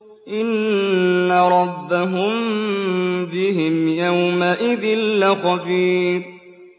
إِنَّ رَبَّهُم بِهِمْ يَوْمَئِذٍ لَّخَبِيرٌ